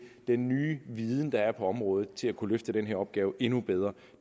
den nye viden der er på området til at kunne løfte den her opgave endnu bedre